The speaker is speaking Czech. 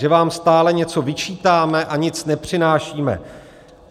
Že vám stále něco vyčítáme a nic nepřinášíme.